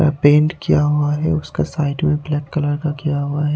वह पेंट किया हुआ हैं उसका साइड मैं ब्लैक कलर का किया हुआ हैं।